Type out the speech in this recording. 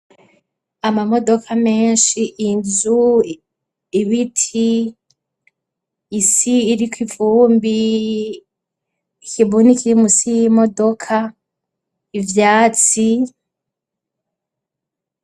Amamodoka menshi inzu, ibiti, isi iriko, ikibuni kiri musi y'imodoka, ivyatsi.